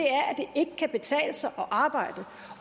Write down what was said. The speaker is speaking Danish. ikke kan betale sig at arbejde